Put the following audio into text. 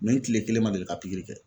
n tile kelen ma deli ka pikiri kɛ.